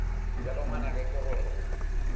bjale ngwanaka ke gore o